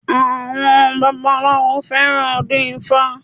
Àwọn babaláwo fẹ́ràn ọdún ifá